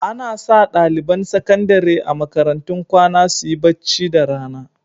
Ana sa ɗaliban sakandare a makarantun kwana su yi bacci da rana.